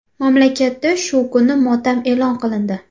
Mamlakatda shu kuni motam e’lon qilindi”.